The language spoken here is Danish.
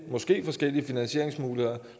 måske forskellige finansieringsmuligheder